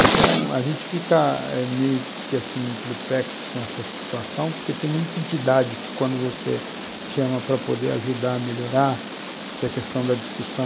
Então, a gente fica eh meio que assim perplexo com essa situação, porque tem muita entidade que quando você chama para poder ajudar a melhorar, se a questão da discussão